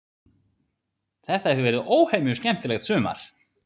Þetta hefur verið óhemju skemmtilegt sumar.